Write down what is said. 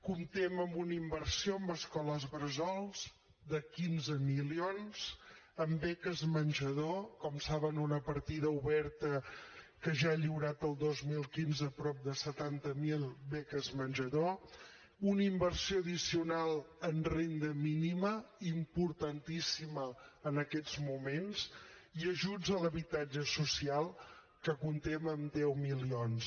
comptem amb una inversió en escoles bressol de quinze milions en beques menjador com saben una partida oberta que ja ha lliurat el dos mil quinze prop de setanta mil beques menjador una inversió addicional en renda mínima importantíssima en aquests moments i ajuts a l’habitatge social que comptem amb deu milions